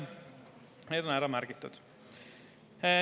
Need on ära märgitud.